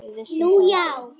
Við vissum það ekki.